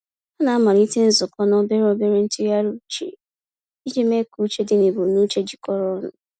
Ha na-amalite nzukọ na obere obere ntụgharị uche iji mee ka uche dị na ebumnuche jikọrọ ọnụ.